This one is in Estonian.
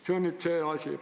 See on esimene asi.